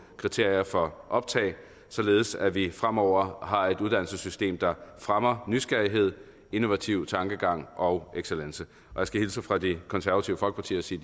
kriterier for optag således at vi fremover har et uddannelsessystem der fremmer nysgerrighed innovativ tankegang og excellence jeg skal hilse fra det konservative folkeparti og sige